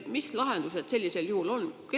Mis lahendused sellisel juhul on?